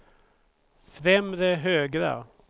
främre högra